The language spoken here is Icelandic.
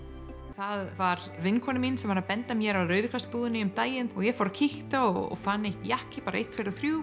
það var vinkona mín sem benti mér á Rauða kross búðina um daginn og ég fór og kíkti og fann einn jakka bara einn tveir og þrír